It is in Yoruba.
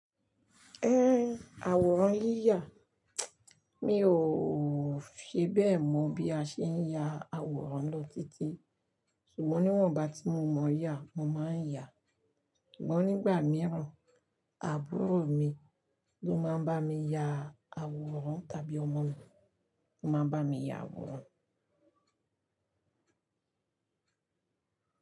Àwòrán yíyà, mí ò fi bẹ́ẹ̀ mọ̀ bí a ṣe ń ya àwòrán lọ títí, ṣùgbọ́n níwọ̀nba tí mo mọyà, mo máa ń yà, ṣùgbọ́n nígbà mìíràn, àbúrò mi ló máa ń bá mi ya àwòrán, tàbí ọmọ mi ló máa ń bá mi ya àwòrán.